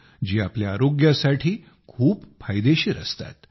जी आपल्या आरोग्यासाठी खूप फायदेशीर असतात